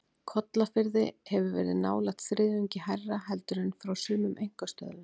Kollafirði hefur verið nálægt þriðjungi hærra heldur en frá sumum einkastöðvum.